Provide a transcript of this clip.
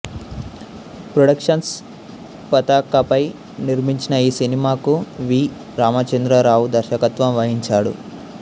productions పతాకపై నిర్మించిన ఈ సినిమాకు వి రామచంద్రరావు దర్శకత్వం వహించాడు